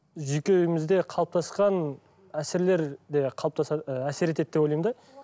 жүйкемізде қалыптасқан әсерлер де қалыптасар і әсер етеді деп ойлаймын да